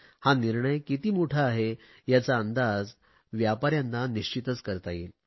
हा निर्णय किती मोठा आहे याचा अंदाज व्यापाऱ्यांना निश्चितच करता येईल